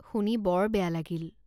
শুনি বৰ বেয়া লাগিল।